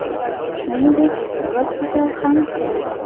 Shuningdek, gospital ham qurildi.